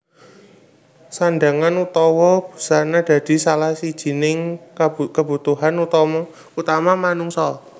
Sandhangan utawa busana dadi salah sijining kabutuhan utama manungsa